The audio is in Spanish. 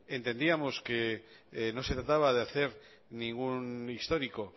entendíamos que no se trataba de hacer ningún histórico